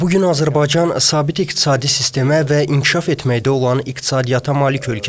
Bu gün Azərbaycan sabit iqtisadi sistemə və inkişaf etməkdə olan iqtisadiyyata malik ölkədir.